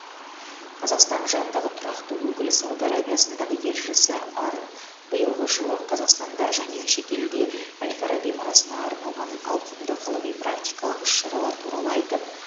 қазақстан жанындағы тұрақты өкілі сауд арабиясындағы елшісі арын биылғы жылы қазақстанда және шетелде әл фараби мұрасына арналған ауқымды ғылыми практикалық іс шаралар туралы айтып